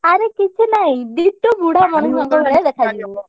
ଆରେ କିଛି ନାହିଁ ditto ବୁଢା ମଣିଷ ଭଳିଆ ଦେଖାଯିବୁ।